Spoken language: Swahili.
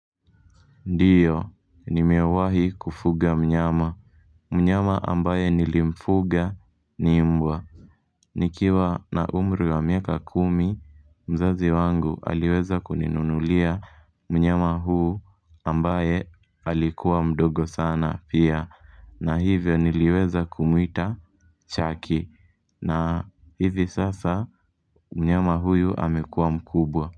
Ndiyo, nimewahi kufuga mnyama. Mnyama ambaye nilimfuga ni mbwa. Nikiwa na umri wa miaka kumi. Mzazi wangu aliweza kuninunulia mnyama huyu. Ambaye alikuwa mdogo sana pia na hivyo niliweza kumwita Chucky. Na hivi sasa mnyama huyu amekuwa mkubwa.